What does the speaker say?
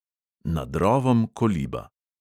Nad rovom koliba.